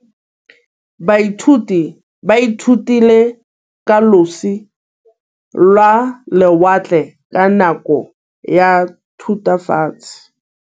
Baithuti ba ithutile ka losi lwa lewatle ka nako ya Thutafatshe.